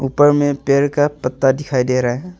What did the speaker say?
ऊपर में पेड़ का पत्ता दिखाई दे रहा है।